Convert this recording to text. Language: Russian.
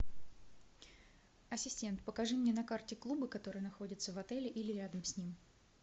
ассистент покажи мне на карте клубы которые находятся в отеле или рядом с ним